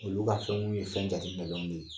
Olu ka fɛnw ye fɛn jateminɛnenw de ye